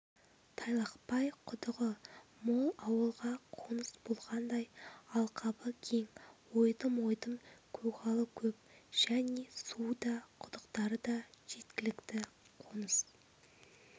тайлақпай құдығы мол ауылга қоңыс болғандай алқабы кең ойдым-ойдым көгалы көп және суы да құдықтары да жеткілікті қоныс